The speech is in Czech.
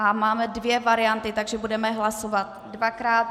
A máme dvě varianty, takže budeme hlasovat dvakrát.